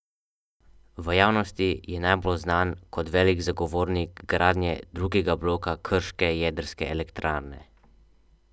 V javnosti je najbolj znan kot velik zagovornik gradnje drugega bloka krške jedrske elektrarne.